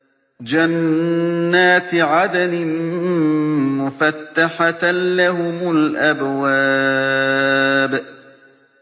جَنَّاتِ عَدْنٍ مُّفَتَّحَةً لَّهُمُ الْأَبْوَابُ